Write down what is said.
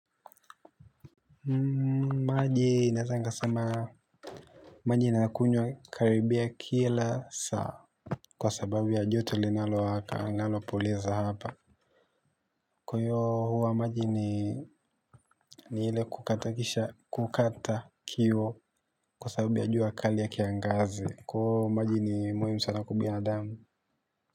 Maji inaezangasema. Maji inakunywa karibia kila saa. Kwa sababu ya joto linalo waka nalopoleza hapa. Kwa hiyo huwa maji ni ile kukata kisha kukata kiu. Kwa sababu ya jua kali ya kiangazi. Kwayo maji ni muhimu sana kwa binadamu.